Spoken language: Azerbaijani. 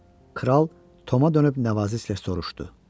Kral Toma dönüb nəvazişlə soruşdu: